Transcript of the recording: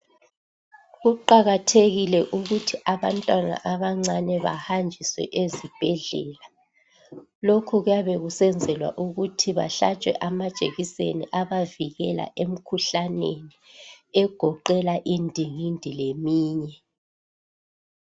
Kuqakathekile ukuthi abantwana abancane bahanjiswe ezibhedlela. Lokhu kuyabe kusenzelwa ukuthi bahlatshwe amajekiseni abavikela emkhuhlaneni egoqela indingindi leminye.